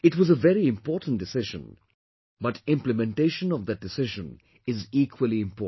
It was a very important decision but implementation of that decision is equally important